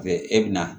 E bɛ na